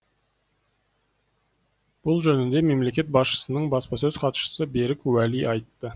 бұл жөнінде мемлекет басшысының баспасөз хатшысы берік уәли айтты